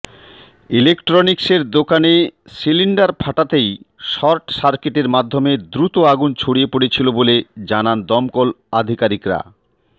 ইলেকট্রনিক্সের দোকানে সিলিন্ডার ফাটাতেই শর্ট সার্কিটের মাধ্যমে দ্রুত আগুন ছডিয়ে পড়িয়েছিল বলে জানান দমকল আধিকারিকরা